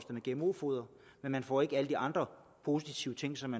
med gmo foder men får ikke oplyst alle de andre positive ting som